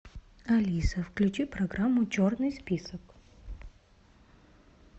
алиса включи программу черный список